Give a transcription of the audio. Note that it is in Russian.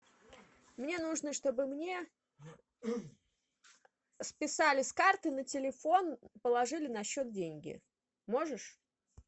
мне нужно чтобы мне списали с карты на телефон положили на счет деньги можешь